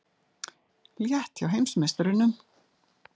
Létt hjá heimsmeisturunum